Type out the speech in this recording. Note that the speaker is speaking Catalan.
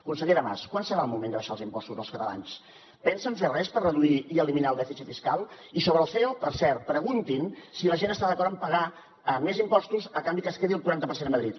consellera mas quan serà el moment d’abaixar els impostos als catalans pensen fer res per reduir i eliminar el dèficit fiscal i sobre el ceo per cert preguntin si la gent està d’acord en pagar més impostos a canvi que es quedi el quaranta per cent a madrid